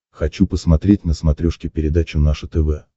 хочу посмотреть на смотрешке передачу наше тв